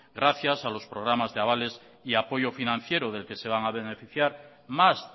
gracias a los programas de avales y apoyo financiero del que se van a beneficiar más